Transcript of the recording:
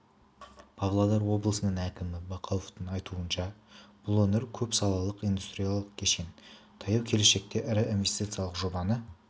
павлодар облысының әкімі бақауовтың айтуынша бұл өңір көп салалық индустриялық кешен таяу келешекте ірі инвестициялық жобаны